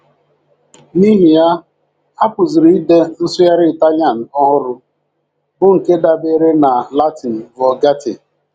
N’ihi ya, a pụziri ide nsụgharị Ịtalian ọhụrụ, bụ́ nke dabeere na Latin Vulgate.